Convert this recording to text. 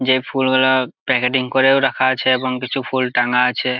যে ফুলগুলো প্যাকেটিং করেও রাখা আছে এবং কিছু ফুল টাঙা আছে।